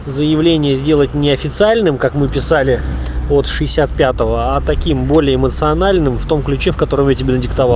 заявление сделать неофициальным как мы писали вот шестьдесят пятого а таким более эмоциональным в том ключе в котором я тебе надиктовал